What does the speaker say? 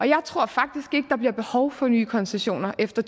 jeg tror faktisk ikke at der bliver behov for nye koncessioner efter